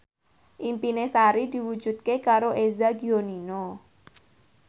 impine Sari diwujudke karo Eza Gionino